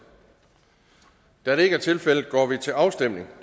da det ikke er tilfældet går vi til afstemning